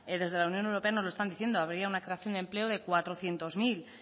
desde la unión europea nos lo están diciendo habría una creación de empleo de cuatrocientos mil